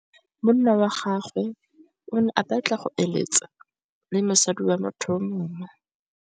Monna wa gagwe o ne a batla go êlêtsa le mosadi wa motho yo mongwe.